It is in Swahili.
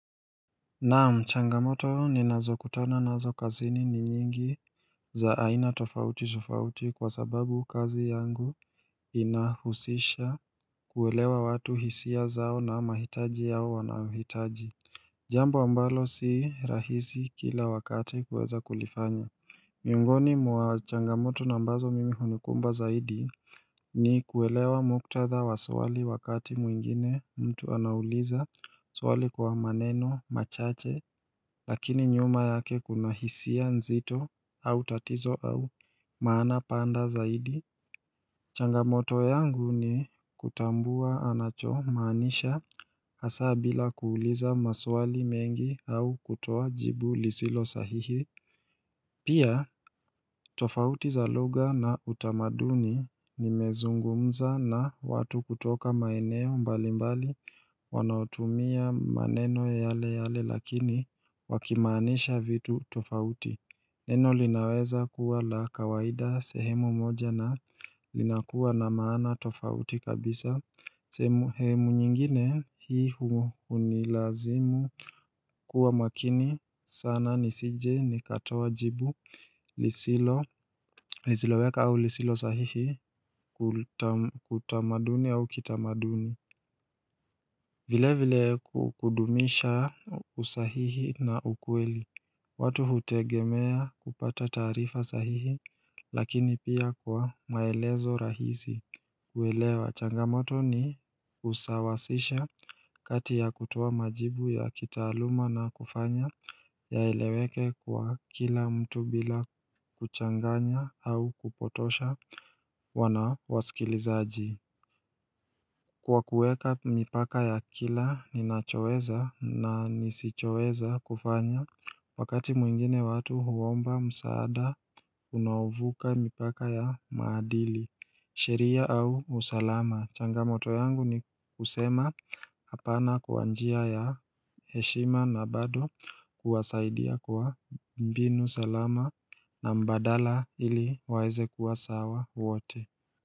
Naam changamoto ninazokutana nazo kazini ni nyingi za aina tofautitofauti kwa sababu kazi yangu inahusisha kuelewa watu hisia zao na mahitaji yao wanayohitaji Jambo ambalo si rahizi kila wakati kuweza kulifanya Miongoni mwa changamoto ambazo mimi hunikumba zaidi ni kuelewa muktadha wa swali wakati mwingine mtu anauliza swali kwa maneno machache lakini nyuma yake kuna hisia nzito au tatizo au maana pana zaidi. Changamoto yangu ni kutambua anachomaanisha hasa bila kuuliza maswali mengi au kutoa jibu lisilo sahihi. Pia tofauti za luga na utamaduni nimezungumza na watu kutoka maeneo mbali mbali wanaotumia maneno yale yale lakini wakimaanisha vitu tofauti. Neno linaweza kuwa la kawaida sehemu moja na linakuwa na maana tofauti kabisa. Sehmu nyingine hii hunilazimu kuwa makini sana nisije nikatoa jibu lisilo weka au lisilo sahihi utamaduni au kitamaduni. Vile vile kudumisha usahihi na ukweli watu hutegemea kupata taarifa sahihi lakini pia kwa maelezo rahisi kuelewa changamoto ni usawasisha kati ya kutoa majibu ya kitaaluma na kufanya yaeleweke kwa kila mtu bila kuchanganya au kupotosha wana wasikilizaji Kwa kuweka mipaka ya kila ninachoweza na nisichoweza kufanya wakati mwingine watu huomba msaada unaovuka mipaka ya maadili sheria au usalama. Changamoto yangu ni kusema hapana kwa njia ya heshima na bado kuwasaidia kwa mbinu salama na mbadala ili waweze kuwa sawa wote.